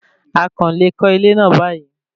A kàn le kọ́ ilé náà báyìí